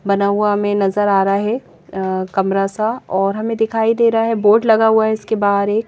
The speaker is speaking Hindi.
बना हुआ हमें नजर आ रहा है अ कमरा सा और हमें दिखाई दे रहा है बोर्ड लगा हुआ है इसके बाहर एक--